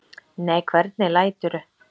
Nei, hvernig læturðu!